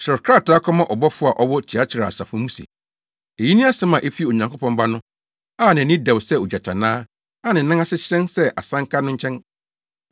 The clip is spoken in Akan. “Kyerɛw krataa kɔma ɔbɔfo a ɔwɔ Tiatira asafo mu se: Eyi ne asɛm a efi Onyankopɔn Ba no a nʼani dɛw sɛ ogyatannaa a ne nan ase hyerɛn sɛ asanka no nkyɛn.